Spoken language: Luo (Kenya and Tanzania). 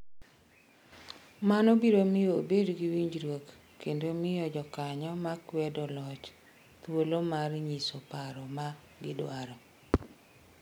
Mano biro miyo obed gi winjruok kendo miyo jokanyo ma kwedo loch thuolo mar nyiso paro ma gidwaro.